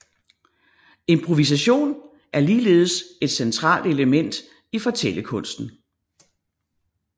Improvisation er ligeldes et centralt element i fortællekunsten